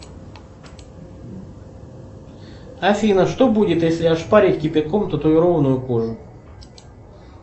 афина что будет если ошпарить кипятком татуированную кожу